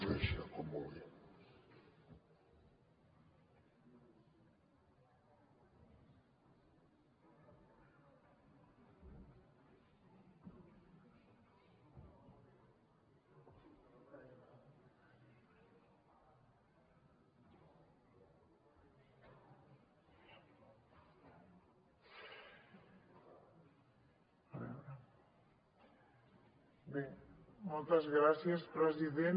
bé moltes gràcies president